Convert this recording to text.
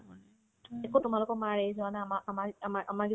একো তোমালোকৰ মাৰ age হোৱা নাই আমাৰ আমাৰ আমাৰ আমাৰ